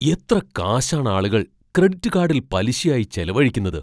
എത്ര കാശാണ് ആളുകൾ ക്രെഡിറ്റ് കാഡിൽ പലിശയായി ചെലവഴിക്കുന്നത്?